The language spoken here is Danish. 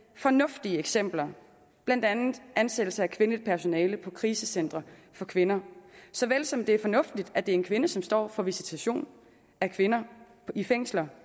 fornuftige eksempler blandt andet ansættelse af kvindeligt personale på krisecentre for kvinder såvel som det er fornuftigt at det er en kvinde som står for visitation af kvinder i fængslerne